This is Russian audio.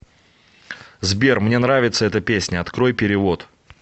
сбер мне нравится эта песня открой перевод